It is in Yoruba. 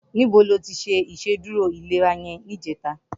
Nibó ló ti ṣé Ìṣédùró ilérà yèn nijètá?